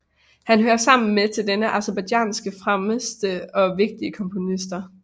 Han hører sammen med denne til Aserbajdsjans fremmeste og vigtige komponister